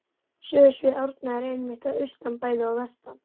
Sögusvið Árna er einmitt að austan bæði og vestan